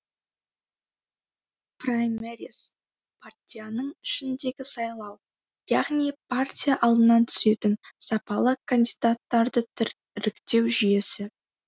праймериз партияның ішіндегі сайлау яғни партия алдынан түсетін сапалы кандидаттарды іріктеу жүйесі